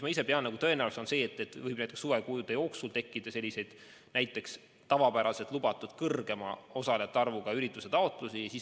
Ma ise pean tõenäoliseks, et suvekuude jooksul võib tekkida tavapäraselt lubatust suurema osalejate arvuga ürituste taotlusi.